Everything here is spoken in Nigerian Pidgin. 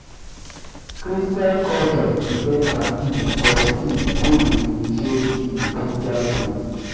christain culture de get um baptism for pikin for pikin wey de initiate in the christian faith